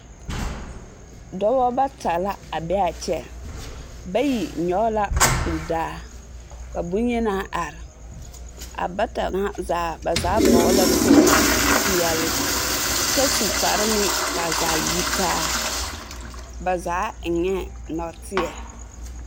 Dɔbɔ bata la a be a kyɛ. Bayi nyɔge la kuri daa. Ka boŋyenaa are. A bata ŋa zaa, ba zaa vɔgele la kpogili peɛle kyɛ su kpare meŋ ka a zaa yi taa. Ba zaa eŋɛɛ nɔɔteɛ.